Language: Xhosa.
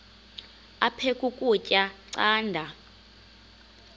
aphek ukutya canda